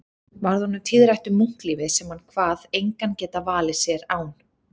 Varð honum tíðrætt um munklífið sem hann kvað engan geta valið sér án